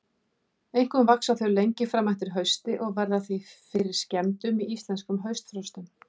Einkum vaxa þau lengi fram eftir hausti og verða því fyrir skemmdum í íslenskum haustfrostum.